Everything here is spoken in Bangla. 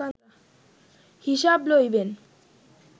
হিসাব লইবেন